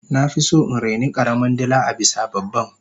nafison in raini karamin dila abisa babban